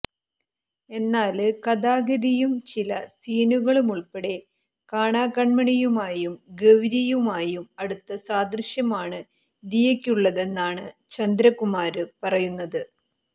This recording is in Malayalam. എന്നാല് കഥാഗതിയും ചില സീനുകളുമുള്പ്പെടെ കാണാകണ്മണിയുമായും ഗൌരിയുമായും അടുത്ത സാദൃശ്യമാണ് ദിയയ്ക്കുള്ളതെന്നാണ് ചന്ദ്രകുമാര് പറയുന്നത്